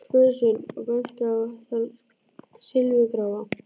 spurði Sveinn og benti á þann silfurgráa.